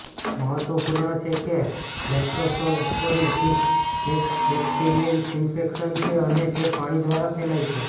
મહત્વપૂર્ણ છે કે લેપ્ટોસ્પિરોસિસ એક બેક્ટેરિયલ ઈન્ફેક્શન છે અને તે પાણી દ્વારા ફેલાય છે